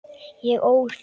Ég ól þér fjögur börn.